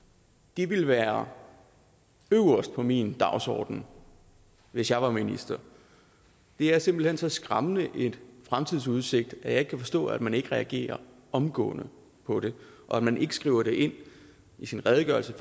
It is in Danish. det ville være øverst på min dagsorden hvis jeg var minister det er simpelt hen så skræmmende en fremtidsudsigt at jeg ikke kan forstå at man ikke reagerer omgående på det og at man ikke skriver det ind i sin redegørelse